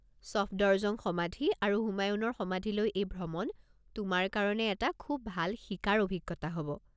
ছফদৰজং সমাধি আৰু হুমায়ুণৰ সমাধিলৈ এই ভ্ৰমণ তোমাৰ কাৰণে এটা খুব ভাল শিকাৰ অভিজ্ঞতা হ'ব।